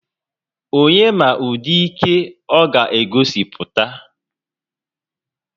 Onye ma ụdị ike ọ ga-egosipụta?